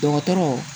Dɔgɔtɔrɔw